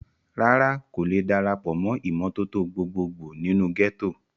rárá, kò le darapọ̀ mọ́ ìmọ́tótó gbogbo gbò nínú gẹ́tò